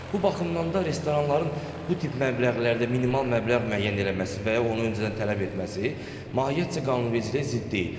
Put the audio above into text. Bu baxımdan da restoranların bu tip məbləğlərdə minimal məbləğ müəyyən eləməsi və ya onu öncədən tələb etməsi mahiyyətcə qanunvericiliyə zidd deyil.